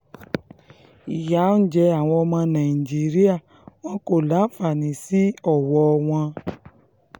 ìyà ń jẹ àwọn ọmọ nàìjíríà wọn kò láǹfààní sí ọwọ́ wọn